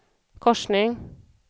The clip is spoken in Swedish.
korsning